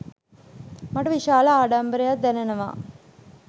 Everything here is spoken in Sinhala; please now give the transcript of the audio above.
මට විශාල ආඩම්බරයක් දැනෙනවා